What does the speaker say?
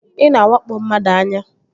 Ị na-awakpo mmadụ anya